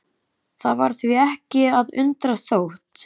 Það var því ekki að undra þótt